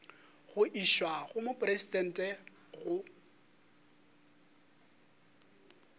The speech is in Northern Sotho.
go išwa go mopresidente go